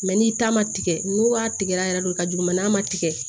n'i ta ma tigɛ n'u y'a tigɛra yɛrɛ de ka jugu mɛ n'a ma tigɛ